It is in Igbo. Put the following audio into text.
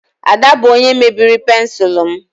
Ada bụ onye mebiri pensụl m